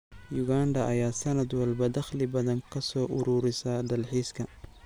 Uganda ayaa sanad walba dakhli badan kasoo ururisa dalxiiska.